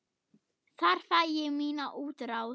Þar fæ ég mína útrás.